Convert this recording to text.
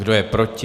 Kdo je proti?